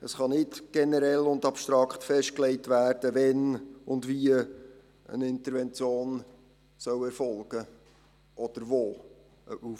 Es kann nicht generell und abstrakt festgelegt werden, wann und wie eine Intervention erfolgen soll.